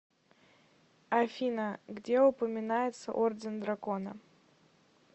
афина где упоминается орден дракона